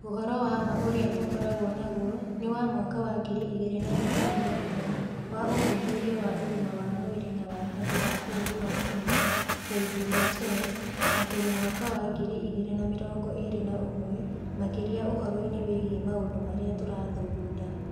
Ũhoro wa ma ũrĩa tũkoragwo naguo nĩ wa mwaka wa ngiri igĩrĩ na ikũmi na inya wa Ũthuthuria wa Ũgima wa Mwĩrĩ na wa Andũ a bũrũri wa Kenya (KDHS), na tũrĩ mwaka wa ngiri igĩrĩ na mĩrongo ĩĩrĩ na ũmwe, makĩria ũhoro-inĩ wĩgiĩ maũndũ marĩa tũrathugunda.